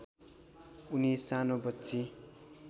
उनी सानो बच्ची